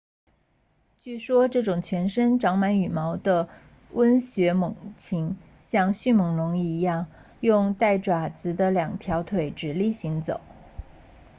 据说这种全身长满羽毛的温血猛禽像迅猛龙一样用带爪子的两条腿直立行走